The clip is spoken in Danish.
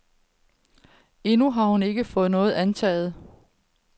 Endnu har hun ikke fået noget antaget.